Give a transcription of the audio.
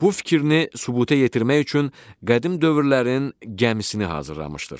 Bu fikrini sübuta yetirmək üçün qədim dövrlərin gəmisini hazırlamışdır.